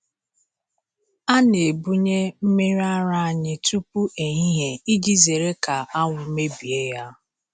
A na-ebunye mmiri ara anyị tupu ehihie iji zere ka anwụ mebie ya.